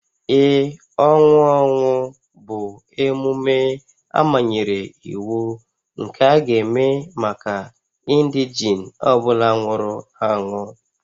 Ee, ọnwụ ọnwụ bụ emume amanyere iwu nke a ga-eme maka indegene ọ bụla nwụrụ anwụ